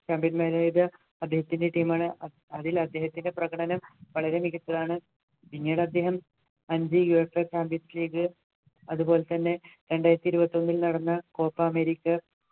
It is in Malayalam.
അദ്ദേഹത്തിൻ്റെ team ആണ് അതിൽ അദ്ദേഹത്തിൻ്റെ പ്രകടനം വളരെ മികച്ചതാണ് പിന്നീടദ്ദേഹം അഞ്ചു USAchampions league അതുപോലെതന്നെ രണ്ടായിരത്തി ഇരുപത്തിഒന്നിൽ നടന്ന copa america